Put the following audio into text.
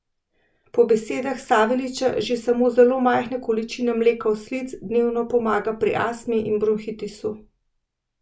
Po besedah Saveljića že samo zelo majhna količina mleka oslic dnevno pomaga pri astmi in bronhitisu.